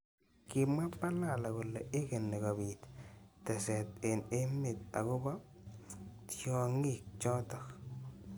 Kimwa Balala kole igeni kobit teset eng emet akobo tyongik chotok.